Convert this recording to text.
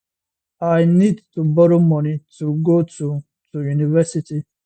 i need to borrow money to go to to university